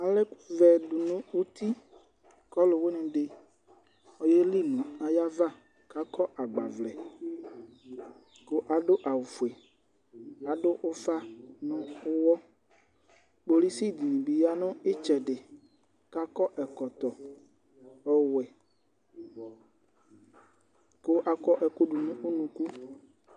Alɛ ɛku vɛ dunu uti kɔluwui ni di ku ɔyeli nu ayava ku akɔ agbavlɛ adu awu ofue adu ufa nu uwɔ kpɔlusi dibi ya nu itsɛdi akɔ ɛkɔtɔ ɔwɛ ku akɔ ɛku du nu unuku